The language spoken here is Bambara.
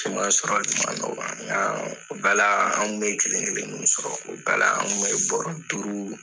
Siman sɔrɔli kun ma nɔgɔ nka o bɛɛ la anw kun bɛ kelen kelen nu sɔrɔ o bɛɛ la anw kunbɛ bɔrɔ duuru